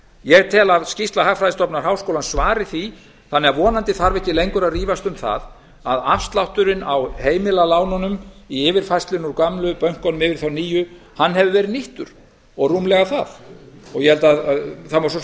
ég tel að skýrsla hagfræðistofnunar háskólans svari því þannig að vonandi þarf ekki lengur að rífast um það að afslátturinn á heimilalánunum í yfirfærslunni úr gömlu bönkunum yfir í þá nýju hefur verið nýttur og rúmlega það það má svo